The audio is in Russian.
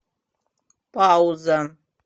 пауза